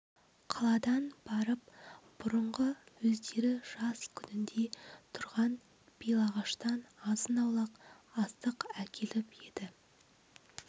қаладан барып бұрынғы өздері жас күнінде тұрған белағаштан азын-аулақ астық әкеліп еді